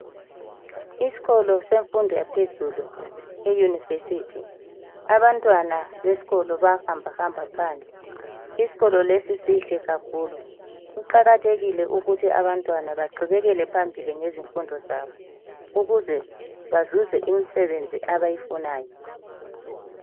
Isikolo semfundo yaphezulu i yunivesithi abantwana besikolo baya hamba hamba phandle, isikolo lesi sihle kakhulu. Kuqakathekile ukuthi abantwana beqhubekele phambili ngezimfundo zabo ukuze bazuze imsebenzi abayifunayo.